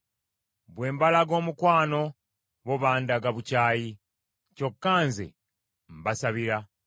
Bwe mbalaga omukwano, bo bandaga bukyayi; kyokka nze mbasabira.